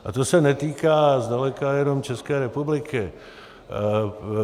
A to se netýká zdaleka jenom České republiky.